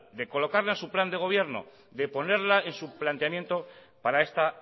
de colocar su plan de gobierno de ponerla en su planteamiento para esta